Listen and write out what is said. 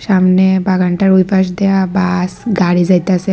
সামনে বাগানটার ওই পাশ দিয়া বাস গাড়ি যাইতাসে।